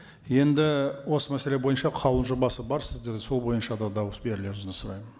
енді осы мәселе бойынша қаулының жобасы бар сіздерде сол бойынша да дауыс берулеріңізді сұраймын